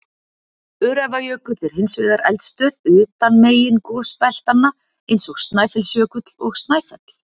Öræfajökull er hins vegar eldstöð utan megin gosbeltanna, eins og Snæfellsjökull og Snæfell.